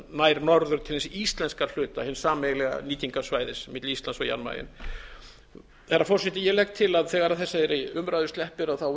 nær norður til hins íslenska hluta hins sameiginlega nýtingarsvæðis milli íslands og jan mayen herra forseti ég legg til að þegar þessari umræðu sleppir